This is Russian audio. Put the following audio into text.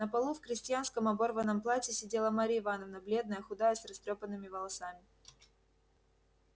на полу в крестьянском оборванном платье сидела марья ивановна бледная худая с растрёпанными волосами